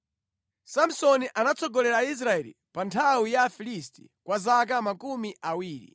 Samsoni anatsogolera Israeli pa nthawi ya Afilisti kwa zaka makumi awiri.